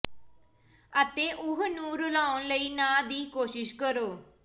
ਅਤੇ ਉਹ ਨੂੰ ਰਲਾਉਣ ਲਈ ਨਾ ਦੀ ਕੋਸ਼ਿਸ਼ ਕਰੋ